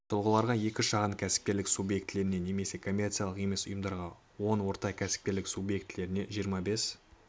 тұлғаларға екі шағын кәсіпкерлік субъектілеріне немесе коммерциялық емес ұйымдарға он орта кәсіпкерлік субъектілеріне жиырма бес